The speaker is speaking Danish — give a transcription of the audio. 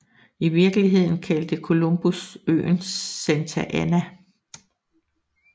I virkeligheden kaldte Columbus øen Santa Ana